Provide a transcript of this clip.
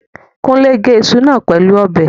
Kúnlé gé iṣu náà pẹ̀lú ọ̀bẹ